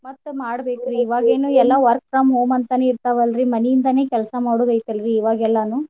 ಮತ್ತ ಮಾಡ್ಬೇಕ್ರಿ ಇವಾಗೇನ್ ಎಲ್ಲಾ work from home ನೇ ಇರ್ತಾವಲ್ರಿ. ಮನಿಯಿಂದಾನೇ ಕೆಲ್ಸಾ ಮಾಡುದೈತಲ್ರಿ ಇವಾಗೆಲ್ಲಾನೂ.